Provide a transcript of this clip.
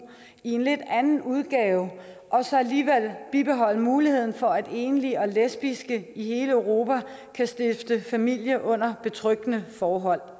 i en lidt anden udgave og så alligevel bibeholde muligheden for at enlige og lesbiske i hele europa kan stifte familie under betryggende forhold